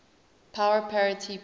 power parity ppp